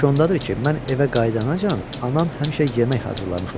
İş ondadır ki, mən evə qayıdancan anam həmişə yemək hazırlamış olur.